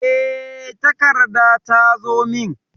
E, takarda ta zo min.